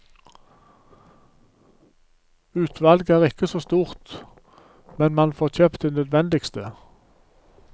Utvalget er ikke så stort, men man får kjøpt det nødvendigste.